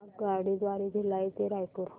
आगगाडी द्वारे भिलाई ते रायपुर